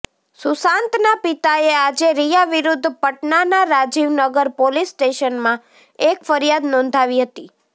સુશાંતના પિતાએ આજે રિયા વિરૂદ્ધ પટનાના રાજીવ નગર પોલીસ સ્ટેશનમાં એક ફરિયાદ નોંધાવી હતી